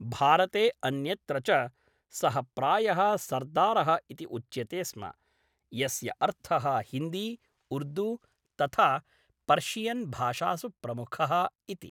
भारते अन्यत्र च सः प्रायः सर्दारः इति उच्यते स्म, यस्य अर्थः हिन्दी, उर्दू, तथा पर्शियन् भाषासु प्रमुखः इति।